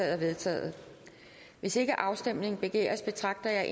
er vedtaget hvis ikke afstemning begæres betragter jeg